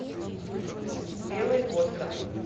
белый остров